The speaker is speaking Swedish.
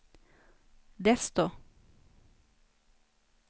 desto